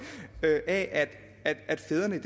af at at fædrene